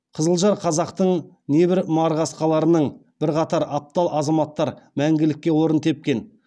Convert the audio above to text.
қызылжар қазақтың небір марқасқаларының бірқатар аптал азаматтар мәңгілікке орын тепкен